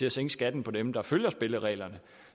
at sænke skatten for dem der følger spillereglerne